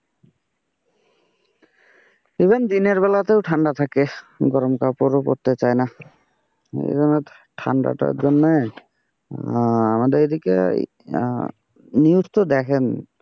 even দিনের বেলাতেও ঠান্ডা থাকে, গরম কাপড় পড়তে চাই না, ঠান্ডা টার জন্যে আমাদের এদিকে নিউজ টা দেখেননি।